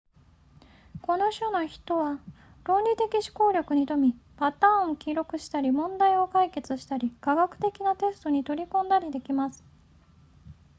この種の人は論理的思考力に富みパターンを記憶したり問題を解決したり科学的なテストに取り組んだりできます